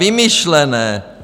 Vymyšlené!